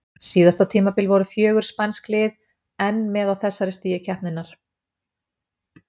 Síðasta tímabil voru fjögur spænsk lið enn með á þessu stigi keppninnar.